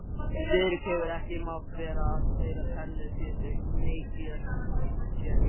Friðrik hefur ekki mátt vera að því að spila tennis síðan í janúar